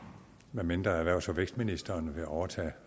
medmindre erhvervs og vækstministeren vil overtage